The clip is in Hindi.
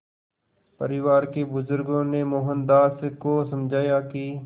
परिवार के बुज़ुर्गों ने मोहनदास को समझाया कि